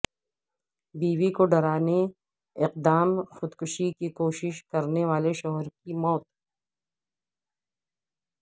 بیوی کو ڈرانے اقدام خودکشی کی کوشش کرنے والے شوہر کی موت